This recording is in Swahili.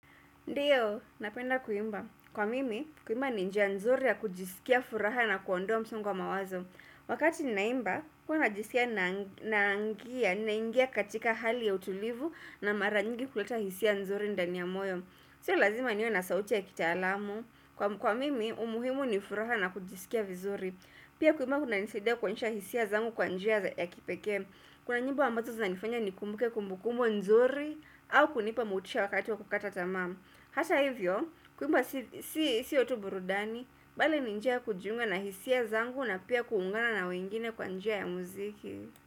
Ndiyo, napenda kuimba. Kwa mimi, kuimba ni njia nzuri ya kujisikia furaha na kuondoa msongo wa mawazo. Wakati ninaimba, huwa ninajisikia ninaingia katika hali ya utulivu na mara nyingi kuleta hisia nzuri ndani ya moyo. Sio lazima niwe na sauti ya kitaalamu. Kwa mimi, umuhimu ni furaha na kujisikia vizuri. Pia kuimba kunanisaidia kuonyesha hisia zangu kwa njia ya kipekee. Kuna nyimbo ambazo zinanifanya nikumbuke kumbukumbu nzuri au kunipa motisha wakati wa kukata tamaa. Hata hivyo, kuimba sio tu burudani, bali ni njia ya kujiunga na hisia zangu na pia kuungana na wengine kwa njia ya muziki.